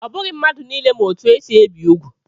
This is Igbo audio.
Ọ bụghị mmadụ niile ma etu esi ebi úgwù.